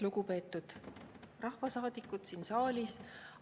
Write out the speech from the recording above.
Lugupeetud rahvasaadikud siin saalis!